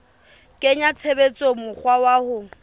kenya tshebetsong mokgwa wa ho